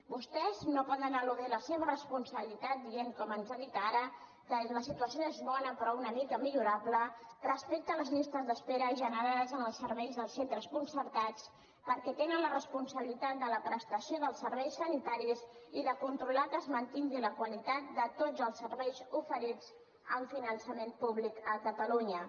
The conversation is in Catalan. vostès no poden eludir la seva responsabilitat dient com ens ha dit ara que la situació és bona però una mica millorable respecte a les llistes d’espera generades als serveis dels centres concertats perquè tenen la responsabilitat de la prestació dels serveis sanitaris i de controlar que es mantingui la qualitat de tots els serveis oferits amb finançament públic a catalunya